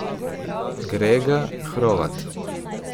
Grega Hrovat!